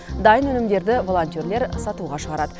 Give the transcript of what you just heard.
дайын өнімдерді волонтерлер сатуға шығарады